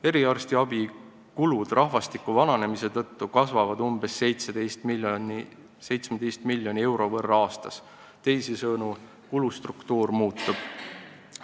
Eriarstiabikulud rahvastiku vananemise tõttu kasvavad umbes 17 miljoni euro võrra aastas, teisisõnu, kulustruktuur muutub.